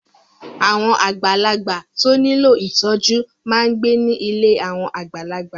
Àwọn àgbàlagbà tó nílò ìtọ́jú máa ń gbé ní ilé àwọn àgbàlagbà.